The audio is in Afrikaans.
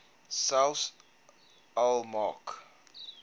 selfs al maak